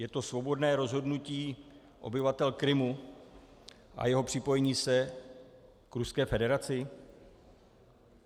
Je to svobodné rozhodnutí obyvatel Krymu a jeho připojení se k Ruské federaci?